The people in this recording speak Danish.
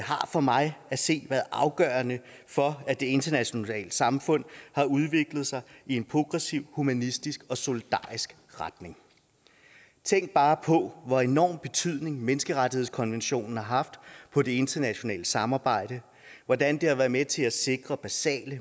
har for mig at se været afgørende for at det internationale samfund har udviklet sig i en progressiv humanistisk og solidarisk retning tænk bare på hvor enorm betydning menneskerettighedskonventionen har haft på det internationale samarbejde hvordan det har været med til at sikre basale